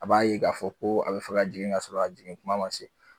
A b'a ye k'a fɔ ko a be fɛ ka jigin k'a sɔrɔ a jigin kuma ma se